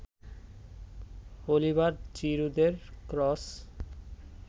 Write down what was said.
Oliver জিরুদের cross